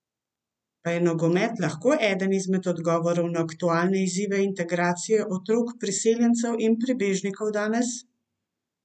Pa je nogomet lahko eden izmed odgovorov na aktualne izzive integracije otrok priseljencev in pribežnikov danes?